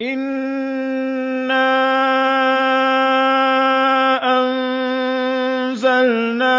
إِنَّا أَنزَلْنَا